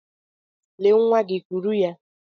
Lee nwa gị, kuru ya.